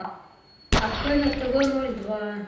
открой на тв ноль два